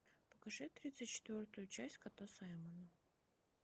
покажи тридцать четвертую часть кота саймона